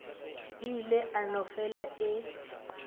ile a no fele a